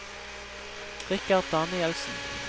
Richard Danielsen